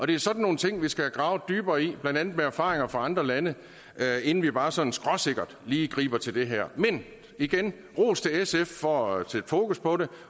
det er sådan nogle ting vi skal have gravet dybere i blandt andet med erfaringer fra andre lande inden vi bare sådan skråsikkert lige griber til det her men igen ros til sf for at sætte fokus på det